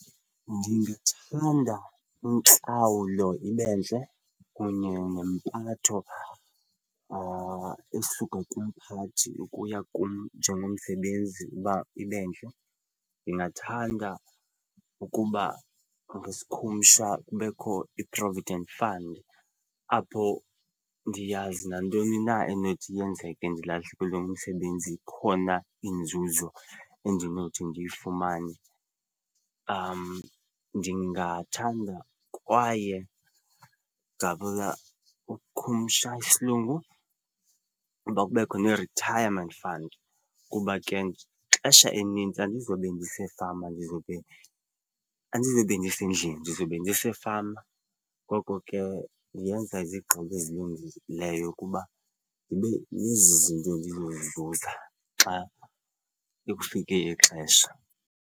Ndithanda intlawulo ibe ntle kunye nempatho esuka kumphathi ukuya kum njengomsebenzi uba ibentle. Ndingathanda ukuba ngesikhumsha kubekho i-provident fund apho ndiyazi nantoni na enothi yenzeke ndilahlekelwe ngumsebenzi, ikhona inzuzo endinothi ndiyifumane. Ndingathanda kwaye ngabula makhumsha isilungu, uba kubekho ne-retirement fund kuba ke ixesha elinintsi andizobe ndisefama ndizobe, andizobe ndisendlini ndizobe ndisefama ngoko ke yenza izigqibo ezilungileyo kuba ndibe nezi zinto ndizozizuza xa kekufike ixesha.